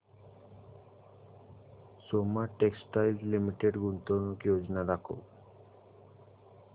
Soma textile limited गुंतवणूक योजना दाखव